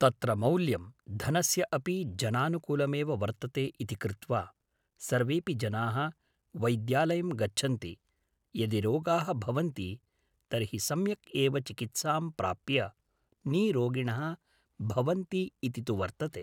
तत्र मौल्यं धनस्य अपि जनानुकूलमेव वर्तते इति कृत्वा सर्वेपि जनाः वैद्यालयम् गच्छन्ति यदि रोगाः भवन्ति तर्हि सम्यक् एव चिकित्सां प्राप्य नीरोगिणः भवन्ति इति तु वर्तते